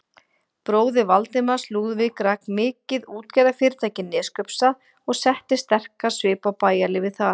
Bróðir Valdimars, Lúðvík, rak mikið útgerðarfyrirtæki í Neskaupsstað og setti sterkan svip á bæjarlífið þar.